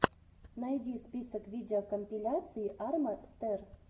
найди список видеокомпиляций арма стер